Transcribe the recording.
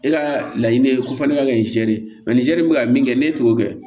E ka laɲini ye ko fɔ ne ka kɛ zɛrɛri mɛ ni zɛri bɛ ka min kɛ ne t'o kɛ